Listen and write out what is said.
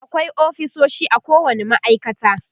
akwai ofisoshi a kowani ma'aikata